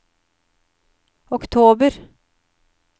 oktober